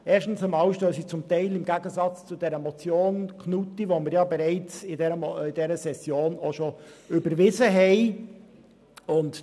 Erstens stehen sie zum Teil im Gegensatz zur Motion Knutti, die wir in dieser Session bereits überwiesen haben.